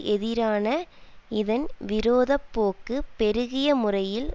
எதிரான இதன் விரோத போக்கு பெருகிய முறையில்